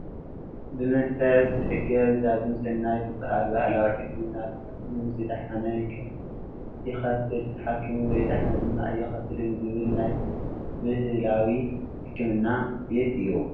ብመንፈስ ዝሕገዝ ዳግም ሰናይ ዝበሃል ባህላዊ ሕክምና ተሓኪሙ ዝድሓነ ይከፍል ተሓኪሙ ዘይድሓነ ድማ ኣይከፍልን ዝብል ናይ ብሃላዊ ሕክምና ቤት እዩ።